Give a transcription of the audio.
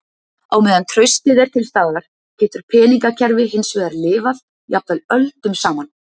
Á meðan traustið er til staðar getur peningakerfi hins vegar lifað, jafnvel öldum saman.